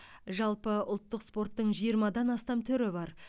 жалпы ұлттық спорттың жиырмадан астам түрі бар